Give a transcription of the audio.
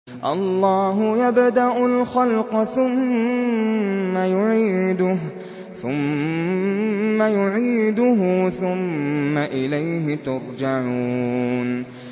اللَّهُ يَبْدَأُ الْخَلْقَ ثُمَّ يُعِيدُهُ ثُمَّ إِلَيْهِ تُرْجَعُونَ